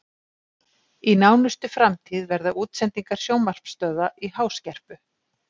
Í nánustu framtíð verða útsendingar sjónvarpsstöðva í háskerpu.